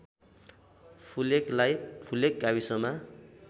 फुलेकलाई फुलेक गाविसमा